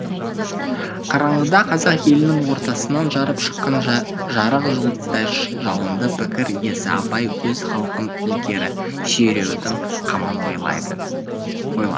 қараңғыда қазақ елінің ортасынан жарып шыққан жарық жұлдыздай жалынды пікір иесі абай өз халқын ілгері сүйреудің қамын ойлады